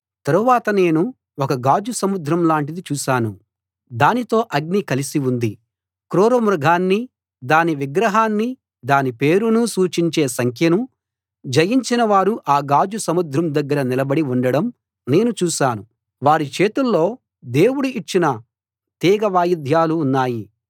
తరువాత నేను ఒక గాజు సముద్రం లాంటిది చూశాను దానితో అగ్ని కలసి ఉంది క్రూర మృగాన్నీ దాని విగ్రహాన్నీ దాని పేరునూ సూచించే సంఖ్యనూ జయించిన వారు ఆ గాజు సముద్రం దగ్గర నిలబడి ఉండడం నేను చూశాను వారి చేతుల్లో దేవుడు ఇచ్చిన తీగ వాయిద్యాలు ఉన్నాయి